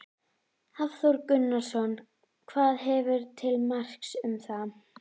Hafþór Gunnarsson: Hvað hefurðu til marks um það?